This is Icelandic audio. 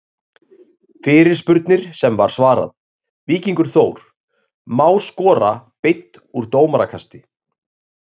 Fyrirspurnir sem var svarað: Víkingur- Þór Má skora beint úr dómarakasti?